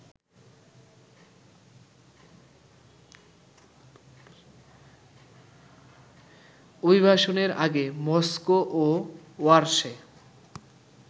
অভিবাসনের আগে মস্কো ও ওয়ারসে